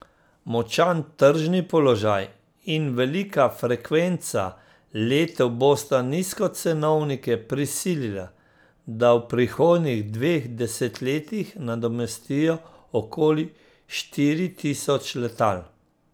Močan tržni položaj in velika frekvenca letov bosta nizkocenovnike prisilila, da v prihodnjih dveh desetletjih nadomestijo okoli štiri tisoč letal.